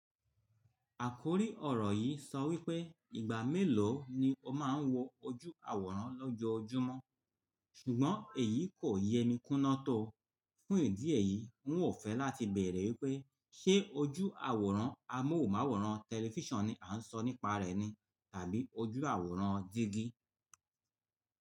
Àkórí ọ̀rọ̀ yìí sọ wípé ìgbà mélòó ni o máa ń wọ ojú àwòrán lọ́jọ́ojúmọ́, ṣùgbọ́n èyí kò yẹ mi kúná tó. Fún ìdí èyí, n ò fẹ́ láti bẹ̀rẹ̀ wípé ṣe ojú àwòrán amóhùnmáwòrán tẹlifíṣàn ni à ń sọ nípa rẹ̀ ni tàbí ojú àwòrán jígí.